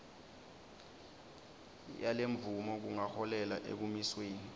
yalemvumo kungaholela ekumisweni